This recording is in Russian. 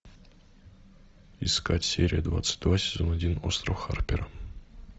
искать серию двадцать два сезон один остров харпера